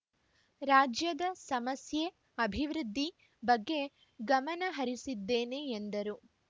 ರಾಜ್ಯದ ಸಮಸ್ಯೆ ಅಭಿವೃದ್ಧಿ ಬಗ್ಗೆ ಗಮನ ಹರಿಸಿದ್ದೇನೆ ಎಂದರು